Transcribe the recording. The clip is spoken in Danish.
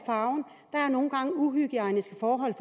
er der nogle gange uhygiejniske forhold